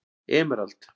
Emerald